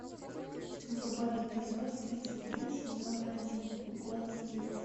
врубай эпизод тридцать три сезона один голос дети